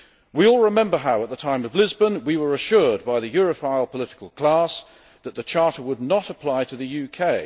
We all remember how, at the time of Lisbon, we were assured by the Europhile political class that the Charter would not apply to the UK.